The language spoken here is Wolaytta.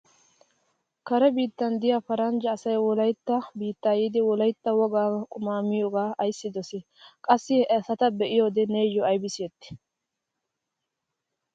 Kare biittan diya paranjja asay wolaytta biitti yiidi wolaytta wogaa qumaa miyohaa ayssi dosii? Qassi he asata be'iyode neeyyo aybi siyettii?